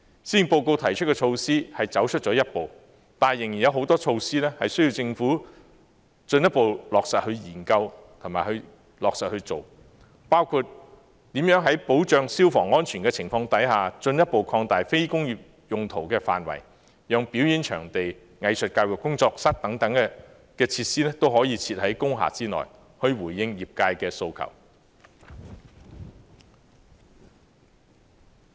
施政報告提出的措施走出了一步，但仍然有很多措施需要政府進一步研究和落實推行，包括如何在保障消防安全的情況下，進一步擴大非工業用途的範圍，讓表演場地、藝術教育工作室等設施可以設在工廈內，以回應業界的訴求。